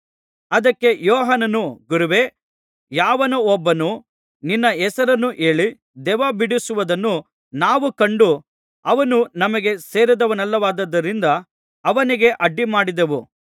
ಅದಕ್ಕೆ ಯೋಹಾನನು ಗುರುವೇ ಯಾವನೋ ಒಬ್ಬನು ನಿನ್ನ ಹೆಸರನ್ನು ಹೇಳಿ ದೆವ್ವಬಿಡಿಸುವುದನ್ನು ನಾವು ಕಂಡು ಅವನು ನಮಗೆ ಸೇರಿದವನಲ್ಲವಾದ್ದರಿಂದ ಅವನಿಗೆ ಅಡ್ಡಿಮಾಡಿದೆವು ಅನ್ನಲು